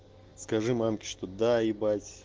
скажи мамке что да ибать